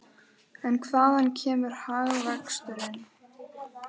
En hvaðan kemur hagvöxturinn?